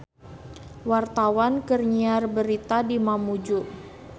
Wartawan keur nyiar berita di Mamuju